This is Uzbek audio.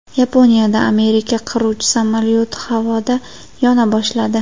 Yaponiyada Amerika qiruvchi samolyoti havoda yona boshladi.